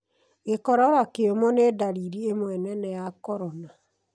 Gĩkorora kĩũmũ nĩ ndariri ĩmwe nene ya corona.